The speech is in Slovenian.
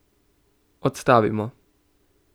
Odstavimo.